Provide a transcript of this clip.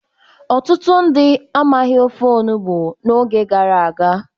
Ọtụtụ ndị amaghị ofe olugbu n'oge gara aga.